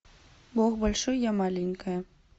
бог большой я маленькая